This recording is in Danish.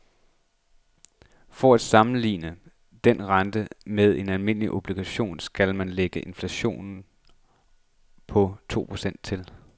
For at sammenligne denne rente med en almindelig obligation skal man lægge inflationen på to procent til.